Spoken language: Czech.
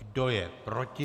Kdo je proti?